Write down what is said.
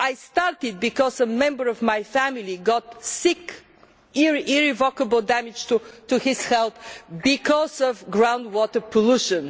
I started because a member of my family got sick irrevocable damage was caused to his health because of groundwater pollution.